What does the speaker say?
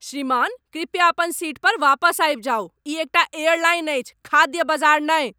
श्रीमान, कृपया अपन सीट पर वापस आबि जाउ। ई एकटा एयरलाइन अछि, खाद्य बजार नहि!